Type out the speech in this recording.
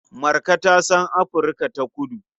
Marka ta san Afirka-ta-kudu.